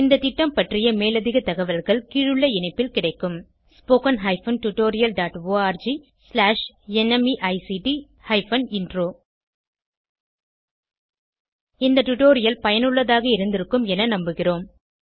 இந்த திட்டம் பற்றிய மேலதிக தகவல்கள் கீழுள்ள இணைப்பில் கிடைக்கும் spoken hyphen tutorial dot org slash NMEICT hyphen intro இந்த டுடோரியல் பயனுள்ளதாக இருந்திருக்கும் என நம்புகிறோம்